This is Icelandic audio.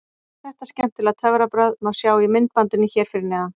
Þetta skemmtilega töfrabragð má sjá í myndbandinu hér fyrir neðan: